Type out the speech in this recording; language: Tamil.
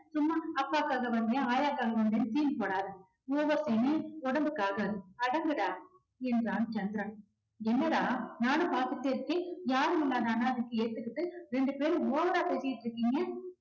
சும்மா அப்பாக்காக வந்தேன் ஆயாக்காக வந்தேன் scene போடாதே. over scene உ உடம்புக்கு ஆகாது. அடங்குடா என்றான் சந்திரன் என்னடா நானும் பாத்துக்கிட்டே இருக்கேன் யாருமில்லாத அனாதைக்கு ஏத்துக்கிட்டு ரெண்டு பேரும் over ரா பேசிகிட்டிருக்கீங்க.